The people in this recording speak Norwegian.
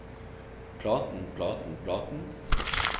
platen platen platen